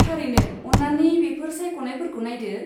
थारैनो, अन्नानै बेफोर सायख'नायफोरखौ नायदो।